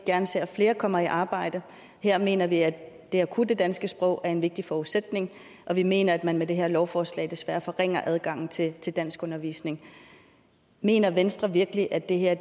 gerne ser at flere kommer i arbejde og her mener vi at det at kunne det danske sprog er en vigtig forudsætning og vi mener at man med det her lovforslag desværre forringer adgangen til til danskundervisning mener venstre virkelig at det her